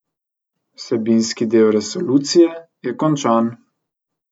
Vsebinski del resolucije je končan.